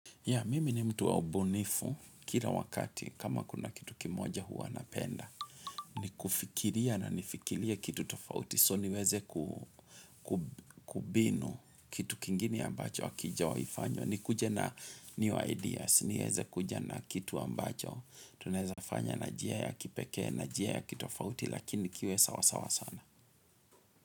Ya, mimi ni mtu wa ubunifu kila wakati kama kuna kitu kimoja huwa napenda. Ni kufikiria na nifikirie kitu tofauti so niweze kubinu kitu kingine ambacho hakijawai fanywa. Nikuje na new ideas, niweze kuja na kitu ambacho. Tunezafanya na njia ya kipekee na njia ya kitofauti lakini kiwe sawasawa sana.